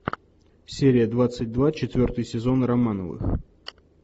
серия двадцать два четвертый сезон романовых